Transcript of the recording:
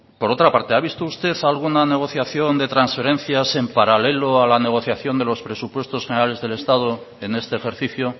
por otra parte ha visto usted alguna negociación de transferencias en paralelo a la negociación de los presupuestos generales del estado en este ejercicio